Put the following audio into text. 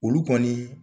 Olu kɔni